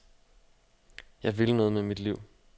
Jeg vil noget med mit liv.